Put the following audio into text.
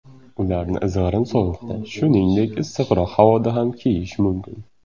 Ularni izg‘irin sovuqda, shuningdek, issiqroq havoda ham kiyish mumkin.